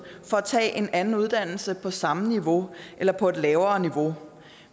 for at tage en anden uddannelse på samme niveau eller på et lavere niveau